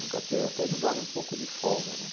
Nunca teve, até me dava um pouco de folga, né?